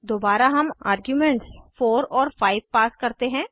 दोबारा हम आर्ग्यूमेंट्स 4 और 5 पास करते हैं